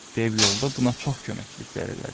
Dev yolda buna çox köməkliklər elədi.